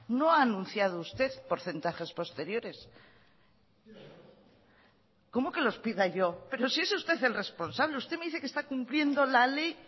no ha anunciado usted porcentajes posteriores cómo que los pida yo pero si es usted el responsable usted me dice que está cumpliendo la ley